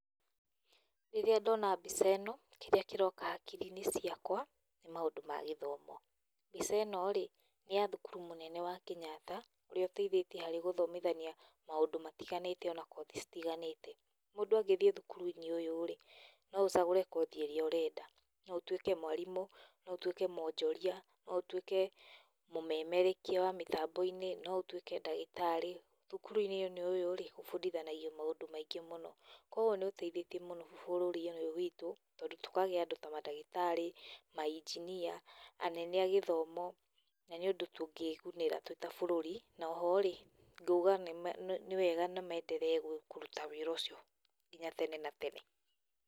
Rĩrĩa ndona mbica ĩno, kĩrĩa kĩroka hakiri-inĩ ciakwa nĩ maũndũ ma gĩthomo. Mbica ĩno- rĩ nĩ ya thukuru mũnene wa Kenyatta ũrĩa ũteithĩtie harĩ gũthomithania maũndũ matiganĩte ona kothi citiganĩte. Mũndũ angĩthiĩ thukuru-inĩ ũyũ-rĩ no ũcagũre kothi ĩrĩa ũrenda. No ũtuĩke mwarimũ, no ũtuĩke mwonjoria, no ũtuĩke múmemerekia wa mĩtambo-nĩ, no ũtuĩke ndagĩtarĩ. Thukuru-inĩ ũyũ-rĩ, ũbundithanagio maũndũ maingĩ mũno, koguo nĩũteithĩie mũno bũrũri ũyũ witũ tondũ tũkagĩa na andũ ta mandagĩtarĩ, mainjinia, anene a gĩthomo, na nĩ ũndũ tũngĩgunĩra twi ta bũrũrú. Na o ho-rĩ nguga nĩ nĩ nĩ wega, nĩ maenderee kũruta wĩra ũcio nginya tene na tene.